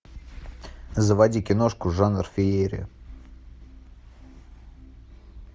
заводи киношку жанр феерия